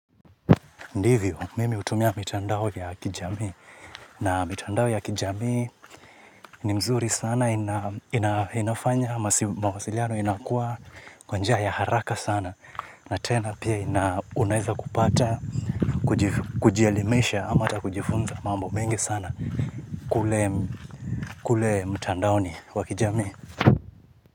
Ndivyo, mimi hutumia mitandao ya kijamii. Na mitandao ya kijamii ni mzuri sana, inafanya, mawasiliano inakuwa kwa njia ya haraka sana. Na tena pia ina unaeza kupata, kujielimisha, ama hata kujifunza mambo mengi sana kule mtandaoni wa kijamii.